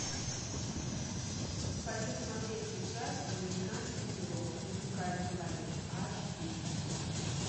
хочу смотреть сейчас американский пирог музыкальный лагерь аш ди